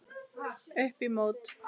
Upp í mót.